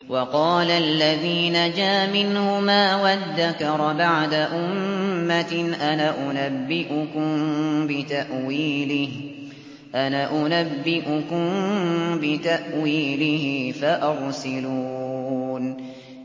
وَقَالَ الَّذِي نَجَا مِنْهُمَا وَادَّكَرَ بَعْدَ أُمَّةٍ أَنَا أُنَبِّئُكُم بِتَأْوِيلِهِ فَأَرْسِلُونِ